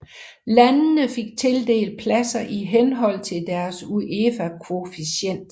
Landene fik tildelt pladser i henhold til deres UEFA koefficient